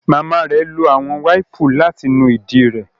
Mama rẹ lo awọn waipu lati nu idi re